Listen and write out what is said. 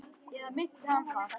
Eða minnti hana það?